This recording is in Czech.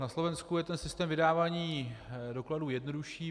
Na Slovensku je ten systém vydávání dokladů jednodušší.